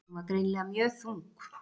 Hún var greinilega mjög þung.